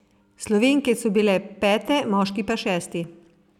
Slovenke so bile pete, moški pa šesti.